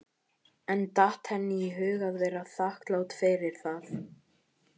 En datt henni í hug að vera þakklát fyrir það?